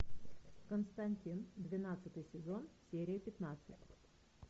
константин двенадцатый сезон серия пятнадцать